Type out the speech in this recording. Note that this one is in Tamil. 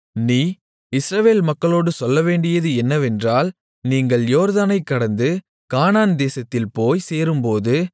நீ இஸ்ரவேல் மக்களோடு சொல்லவேண்டியது என்னவென்றால் நீங்கள் யோர்தானைக் கடந்து கானான்தேசத்தில் போய்ச் சேரும்போது